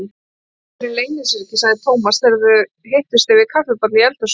Svipurinn leynir sér ekki, sagði Thomas þegar þeir hittust yfir kaffibolla í eldhúsinu.